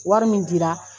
Wari min dira